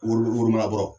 Woro woloman kɔrɔ